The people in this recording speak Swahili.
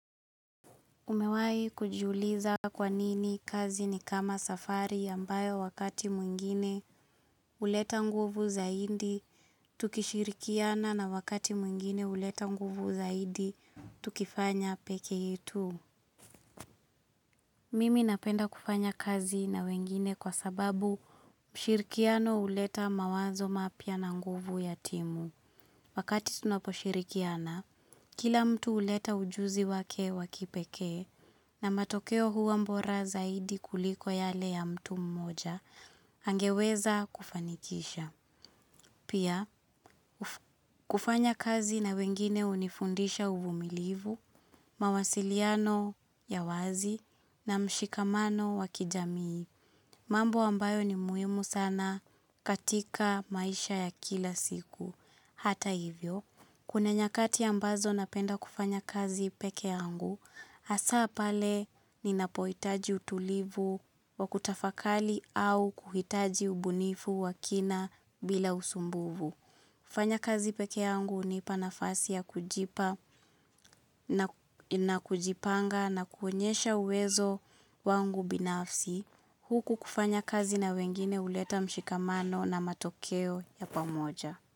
Umewahi kujiuliza kwa nini kazi ni kama safari ambayo wakati mwingine huleta nguvu zaidi tukishirikiana na wakati mwingine huleta nguvu zaidi tukifanya peke yetu Mimi napenda kufanya kazi na wengine kwa sababu ushirikiano huleta mawazo mapya na nguvu ya timu. Wakati tunaposhirikiana, kila mtu huleta ujuzi wake wa kipekee na matokeo huwa bora zaidi kuliko yale ya mtu mmoja angeweza kufanikisha. Pia, kufanya kazi na wengine hunifundisha uvumilivu, mawasiliano ya wazi na mshikamano wa kijamii, mambo ambayo ni muhimu sana katika maisha ya kila siku. Hata hivyo, kuna nyakati ambazo napenda kufanya kazi peke yangu, hasa pale ninapohitaji utulivu wa kutafakali au kuhitaji ubunifu wa kina bila usumbufu kufanya kazi peke yangu hunipa nafasi ya kujipanga na kuonyesha uwezo wangu binafsi. Huku kufanya kazi na wengine huleta mshikamano na matokeo ya pamoja.